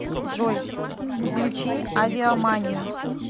джой включи авиаманию